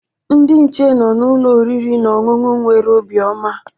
Ndị nche nọ na ụlọ oriri na ọṅụṅụ nwere obiọma